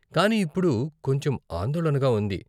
కానీ ఇప్పుడు కొంచెం ఆందోళనగా ఉంది.